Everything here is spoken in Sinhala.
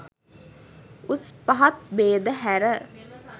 උස් පහත් භේද හැර